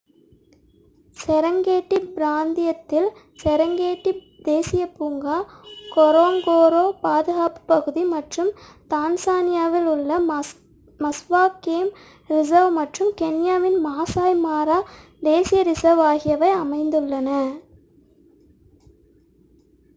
Serengeti பிராந்தியத்தில் Serengeti தேசிய பூங்கா கொரோங்கோரோ பாதுகாப்புப் பகுதி மற்றும் தான்சானியாவில் உள்ள மஸ்வா கேம் ரிசர்வ் மற்றும் கென்யாவின் மாசய் மாரா தேசிய ரிசர்வ் ஆகியவை அமைந்துள்ளன